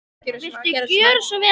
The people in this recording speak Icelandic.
Viltu gjöra svo vel að sækja